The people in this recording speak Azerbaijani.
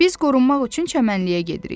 Biz qorunmaq üçün çəmənliyə gedirik.